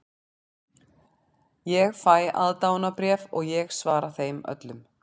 Ég fæ aðdáendabréf og ég svara þeim öllum.